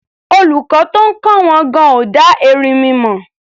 Olùkọ́ tó ń kọ́ wọn gan-an ò dá erinmi mọ̀.